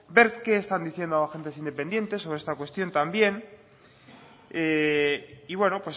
ver qué están diciendo agentes independientes sobre esta cuestión también y bueno